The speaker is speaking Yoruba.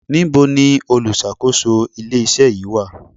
Níbo ni olùṣàkóso ilé iṣẹ́ yìí wà?